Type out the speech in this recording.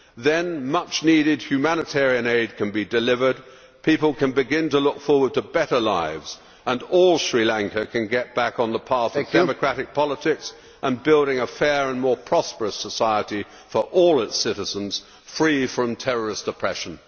Then, much needed humanitarian aid can be delivered, people can begin to look forward to better lives and all Sri Lanka can get back on the path of democratic politics and to building a fair and more prosperous society for all its citizens, free from terrorist oppression.